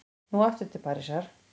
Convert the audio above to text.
Nú aftur til Parísar.